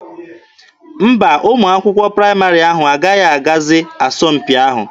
Mba, ụmụ akwụkwọ praịmarị ahụ agaghị agazi asọmpi ahụ.